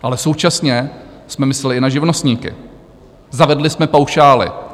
Ale současně jsme mysleli i na živnostníky - zavedli jsme paušály.